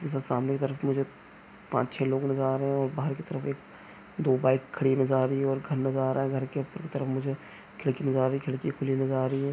सामने की तरफ मुझे पांच छ: लोग नजर आ रहे है और बाहर की तरफ एक दो बाइक खड़ी नजर आ रही है और घर नजर आ रहा है घर के ऊपर की तरफ मुझे खिड़की नजर आ रही है खिड़की खुली नजर आ रही है।